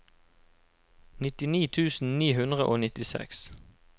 nittini tusen ni hundre og nittiseks